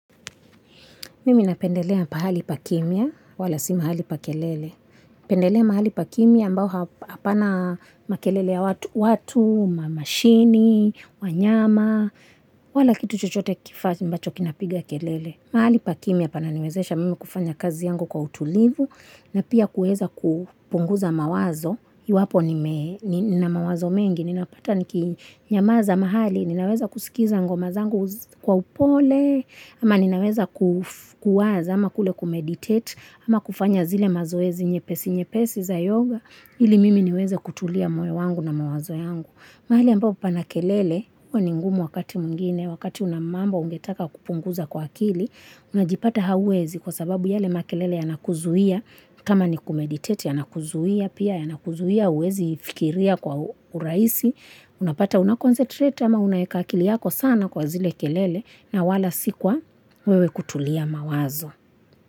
Mimi napendelea pahali pa kimya wala si mahali pa kelele. Pendelea mahali pa kimya mbao hapana makelele ya watu, mamashini, wanyama, wala kitu chochote kifati mbacho kinapiga kelele. Mahali pa kimya pananiwezesha mimi kufanya kazi yangu kwa utulivu na pia kueza kupunguza mawazo. Iwapo nina mawazo mengi, nina pata niki nyamaza mahali, ninaweza kusikiza ngo mazangu kwa upole, ama ninaweza kuwaza, ama kule kumeditate, ama kufanya zile mazoezi nye pesi nye pesi za yoga, ili mimi niweze kutulia moe wangu na mawazo yangu. Mahali ambapo pana kelele, huwaningumu wakati mwingine, wakati unamambo ungetaka kupunguza kwa akili, unajipata hauwezi kwa sababu yale makelele yanakuzuia, kama ni kumeditate yanakuzuia, pia yanakuzuia, uwezi fikiria kwa uraisi, unapata unakoncentrate ama unayeka akili yako sana kwa zile kelele na wala sikuwa wewe kutulia mawazo.